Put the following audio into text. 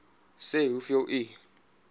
sê hoeveel u